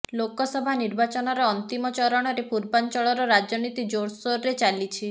ଲୋକସଭା ନିର୍ବାଚନର ଅନ୍ତିମ ଚରଣରେ ପୂର୍ବାଞ୍ଚଳର ରାଜନୀତି ଜୋରସୋରରେ ଚାଲିଛି